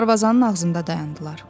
Darvazanın ağzında dayandılar.